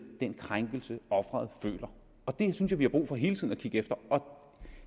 den krænkelse offeret føler det synes jeg at vi har brug for hele tiden at kigge efter